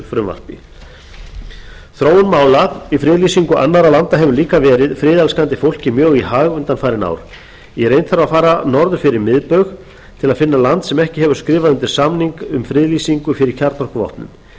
frumvarpi þróun mála í friðlýsingu annarra landa hefur líka verið friðelskandi fólki mjög í hag undanfarin ár í reynd þarf að fara norður fyrir miðbaug til að finna land sem ekki hefur skrifað undir samning um friðlýsingu fyrir kjarnorkuvopnum